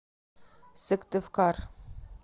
сыктывкар